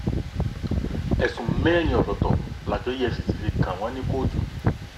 ẹ̀sùn mẹ́rin ọ̀tọ̀ọ̀tọ̀ làjọ efcc fi kàn wọ́n ní kóòtù